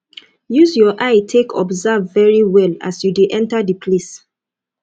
use your eye take observe very well as you de enter di place